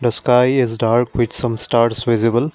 the sky is dark with some stars visible.